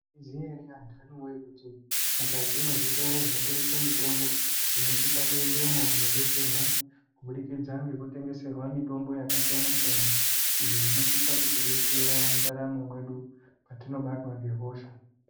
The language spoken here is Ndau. Mwaiziya ere antani wee kuti mukati mwezvitoro zvinotengeswa mitombo tinosisa kuendamo kunodetserwa kubudikidza ngekutengeserwa mitombo yakasiyana siyana iyo inosisa kuti detsera mundaramo mwedu patinobatwa nehosha